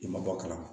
I ma bɔ a kalama